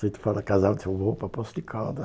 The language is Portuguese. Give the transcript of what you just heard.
Se tu fala casal, eu vou para Poço de Caldas.